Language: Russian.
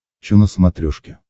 че на смотрешке